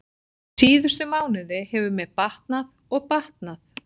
Síðustu mánuði hefur mér batnað og batnað.